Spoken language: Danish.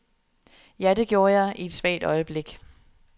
Ja, det gjorde jeg, i et svagt øjeblik.